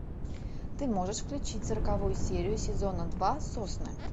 ты можешь включить сороковую серию сезона два сосны